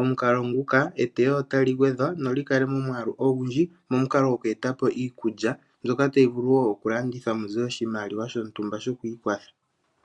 Omukalo nguka eteyo otali gwedhwa noli kale momwaalu ogundji. Momukalo gokweeta po iikulya mbyoka tayi vulu wo okulandithwa mu ze oshimaliwa shontumba shokwiikwatha.